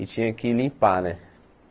E tinha que limpar, né?